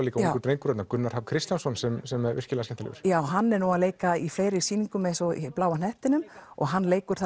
líka ungur drengur þarna Gunnar Hrafn Kristjánsson sem sem er virkilega skemmtilegur já hann er að leika í fleiri sýningum eins og Bláa hnettinum hann leikur